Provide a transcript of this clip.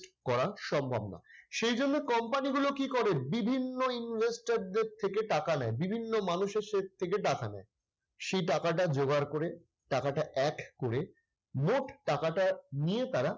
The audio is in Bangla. করা সম্ভব না। সেই জন্য company গুলো কি করে বিভিন্ন investor দের থেকে টাকা নেয়, বিভিন্ন মানুষের থেকে টাকা নেয়। সেই টাকাটা যোগাড় করে টাকাটা add করে মোট টাকাটা নিয়ে তারা